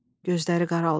Gözləri qaraldı.